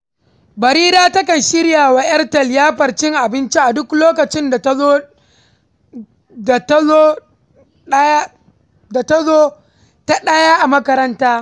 Barira takan shirya wa ‘yarta liyafar cin abinci a duk lokacin da ta zo ta ɗaya a makaranta.